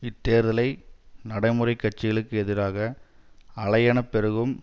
இத்தேர்தலை நடைமுறை கட்சிகளுக்கு எதிராக அலையெனப் பெருகும்